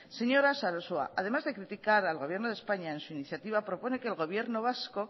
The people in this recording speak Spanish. señora sarasua además de criticar al gobierno de españa en su iniciativa propone que el gobierno vasco